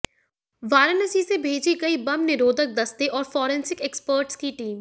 वाराणसी से भेजी गई बम निरोधक दस्ते और फरेंसिक एक्सपर्ट्स की टीम